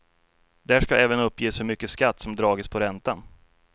Där ska även uppges hur mycket skatt som dragits på räntan.